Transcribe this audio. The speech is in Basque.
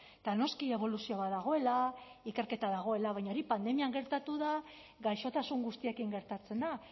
eta noski eboluzio bat dagoela ikerketa dagoela baina hori pandemian gertatu da gaixotasun guztiekin gertatzen da